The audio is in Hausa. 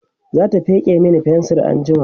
zata feke Mani fensir anjima